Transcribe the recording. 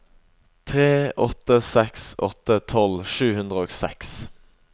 tre åtte seks åtte tolv sju hundre og seks